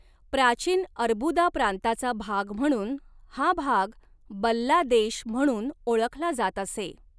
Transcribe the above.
प्राचीन अर्बुदा प्रांताचा भाग म्हणून हा भाग बल्ला देश म्हणून ओळखला जात असे.